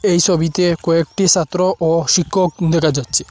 এই ছবিতে কয়েকটি ছাত্র ও শিক্ষক দেখা যাচ্ছে।